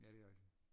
Ja det er rigtigt